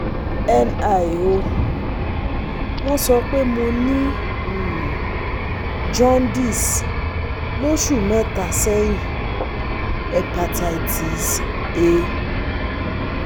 Nl o, won so pe mo ni um jaundice loṣu mẹta sẹyin Hepatitis A